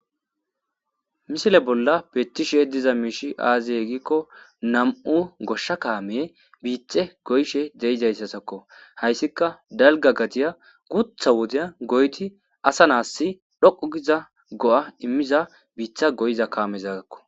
misile bolla peettishe diza miishi aaziye gikko nam7u goshsha kaameye biithe goyshe deizayssasakko hayssika dalga gadiya gutha wodeya goyti asa naassi dhoqu giza go7a immiza biitha goyiza kaamezaagakko.